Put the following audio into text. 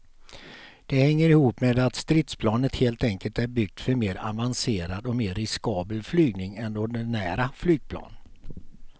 Det hänger ihop med att stridsplanet helt enkelt är byggt för mer avancerad och mer riskabel flygning än ordinära flygplan.